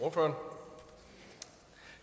for